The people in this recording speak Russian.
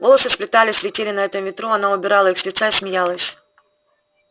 волосы сплетались летели на этом ветру она убирала их с лица и смеялась